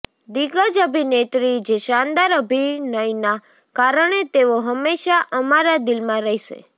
દિગ્ગજ અભિનેત્રી જે શાનદાર અભિનયના કારણે તેઓ હમેશા અમારા દિલમાં રહેશે